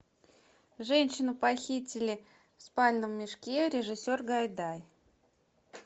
женщину похитили в спальном мешке режиссер гайдай